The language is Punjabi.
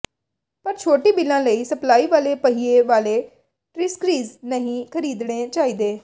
ਪਰ ਛੋਟੀ ਬਿੱਲਾਂ ਲਈ ਸਪਲਾਈ ਵਾਲੇ ਪਹੀਏ ਵਾਲੇ ਟ੍ਰੀਸਕ੍ਰੀਜ਼ ਨਹੀਂ ਖਰੀਦਣੇ ਚਾਹੀਦੇ